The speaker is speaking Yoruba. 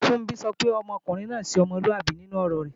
Funbí sọ pé ọkùnrin náà ṣe ọmọlúàbí nínú ọ̀rọ rẹ̀